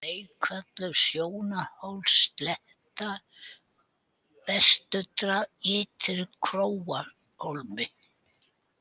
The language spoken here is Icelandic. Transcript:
Leikvöllur, Sjónarhólsslétta, Vesturdrag, Ytri-Króarhólmi